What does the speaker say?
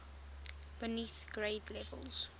beneath grade levels